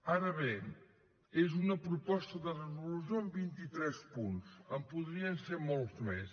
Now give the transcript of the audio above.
ara bé és una proposta de resolució amb vint i tres punts en podrien ser molts més